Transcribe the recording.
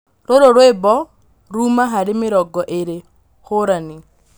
rūrū rwīmbo ruma harī mīrongo īri hūrani